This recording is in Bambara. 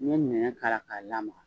Ni ye ɲɛnɲɛn k'a la , ka lamaka